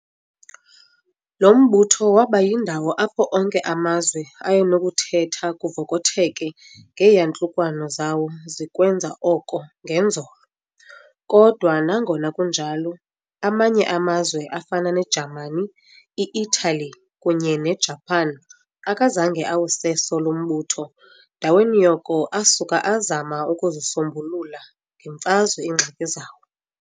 Lo mbutho waba yindawo apho onke amazwe ayenokuthetha kuvokotheke ngeeyantlukwano zawo zikwenza oko ngenzolo. kodwa nangona kunjalo amanye amazwe afana neJamani, i-Italy kunye ne-Japan, akazange awuseso lo mbutho, ndaweni yoko asuka azama ukuzisombulula ngeMfazwe iingxaki zawo.